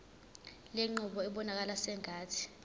lenqubo ibonakala sengathi